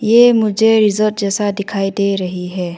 ये मुझे रिजॉर्ट जैसा दिखाई दे रही है।